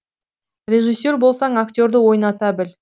режиссер болсаң актерді ойната біл